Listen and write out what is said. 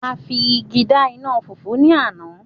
a fi igi da ina fufu ni Ana